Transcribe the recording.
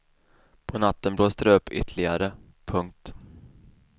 På natten blåste det upp ytterligare. punkt